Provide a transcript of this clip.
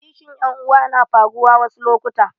Kishin ƴan uwa na faruwa wasu lokuta